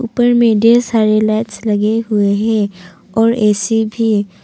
ऊपर मे ढेर सारी लाइट्स लगे हुए हैं और ए_सी भी--